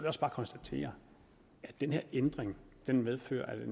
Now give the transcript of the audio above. også bare konstatere at den her ændring medfører at